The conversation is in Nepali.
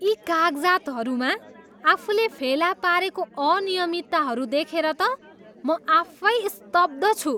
यी कागजातहरूमा आफूले फेला पारेको अनियमितताहरू देखेर त म आफै स्तब्ध छु।